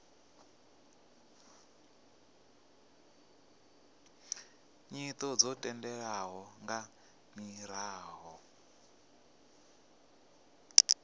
nyito dzo tendelwaho nga miraḓo